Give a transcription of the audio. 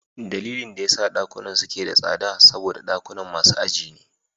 Dalilin da yasa dakunan suke da tsada shine saboda dakunan masu aji ne.